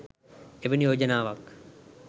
එවැනි යෝජනාවක්